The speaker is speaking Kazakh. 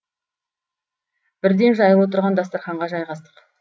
бірден жаюлы тұрған дастарханға жайғастық